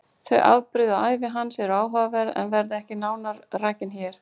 Þau afbrigði og ævi hans eru áhugaverð en verða ekki nánar rakin hér.